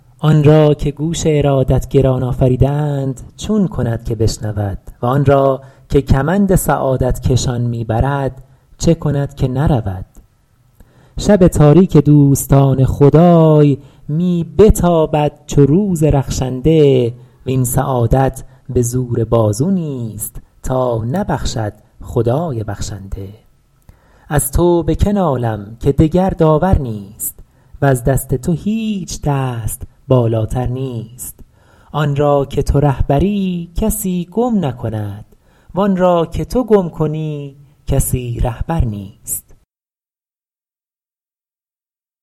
آن را که گوش ارادت گران آفریده اند چون کند که بشنود و آن را که کمند سعادت کشان می برد چه کند که نرود شب تاریک دوستان خدای می بتابد چو روز رخشنده وین سعادت به زور بازو نیست تا نبخشد خدای بخشنده از تو به که نالم که دگر داور نیست وز دست تو هیچ دست بالاتر نیست آن را که تو رهبری کسی گم نکند وآن را که تو گم کنی کسی رهبر نیست